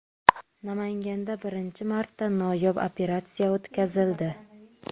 Namanganda birinchi marta noyob operatsiya o‘tkazildi.